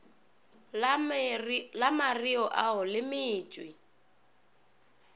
la mareo ao le metšwe